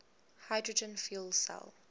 hydrogen fuel cell